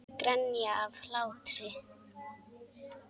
Grenja af hlátri.